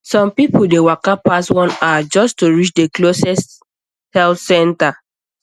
some people dey waka pass one hour just to reach the closest health center